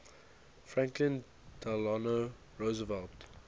franklin delano roosevelt